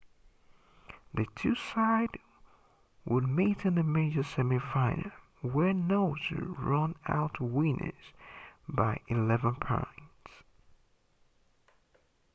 the two sides would meet in the major semi final where noosa ran out winners by 11 points